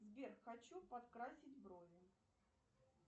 сбер хочу подкрасить брови